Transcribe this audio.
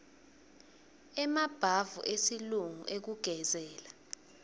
emabhavu esilungu ekugezela